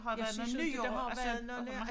Jeg synes inte der har været noget